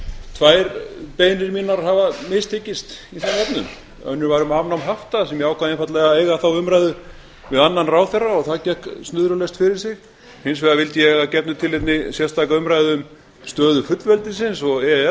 tvær beiðnir mínar hafa mistekist í þeim efnum önnur var um afnám hafta og ég ákvað einfaldlega að eiga þá umræðu við annan ráðherra og það gekk snurðulaust fyrir sig hins vegar vildi ég að gefnu tilefni sérstaka umræðu um stöðu fullveldisins og e e s